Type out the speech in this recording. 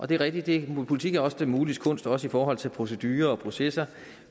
det er rigtigt at politik også er det muliges kunst også i forhold til procedurer og processer